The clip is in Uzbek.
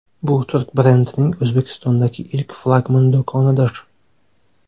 Bu turk brendining O‘zbekistondagi ilk flagman do‘konidir.